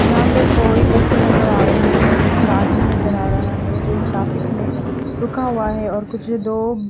यहाँ पे कोई बच्चे नज़र आ रहे है और एक आदमी नज़र आ रहा है जो ट्राफिक में रुका हुआ है और कुछ दो--